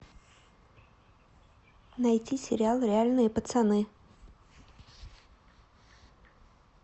найти сериал реальные пацаны